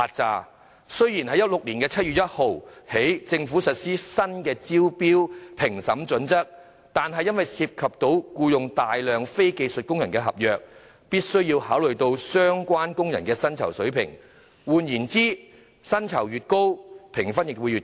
政府自2016年7月1日起實施新的招標評審準則，若合約涉及僱用大量非技術工人，便必須考慮相關工人的薪酬水平；換言之，薪酬越高，評分亦會越高。